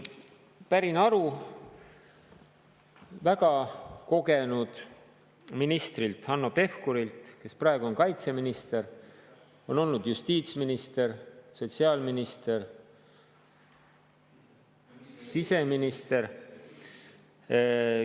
Pärin aru väga kogenud ministrilt, Hanno Pevkurilt, kes praegu on kaitseminister ja varem on olnud justiitsminister, sotsiaalminister ja siseminister.